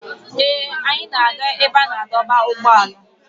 Ee, anyị na-aga ebe a na-adọba ụgbọala.